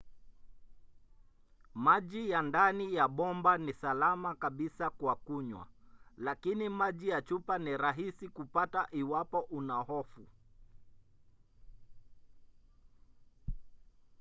maji ya ndani ya bomba ni salama kabisa kwa kunywa lakini maji ya chupa ni rahisi kupata iwapo una hofu